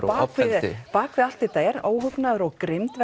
bak við allt þetta er óhugnaður og grimmd